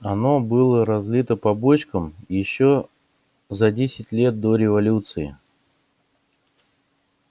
оно было разлито по бочкам ещё за десять лет до революции